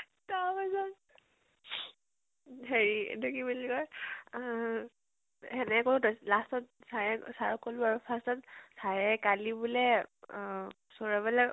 তাৰ পাছত হেৰি এইটো কি বুলি কয় অহ হেনেকে কলো, last ত sir এ, sir ক কলে আৰু first ত sir এ কালি বুলে সৌৰভলে